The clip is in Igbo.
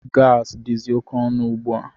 Gaasi dizi oké ọnụ ugbua.